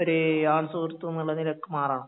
ഒരു ആൺസുഹൃത്തെന്നുള്ള നിലയ്ക്ക് മാറണം